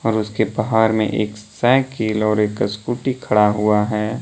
उसके बाहर में एक साइकिल और एक स्कूटी खड़ा हुआ है।